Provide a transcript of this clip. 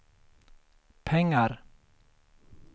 pengar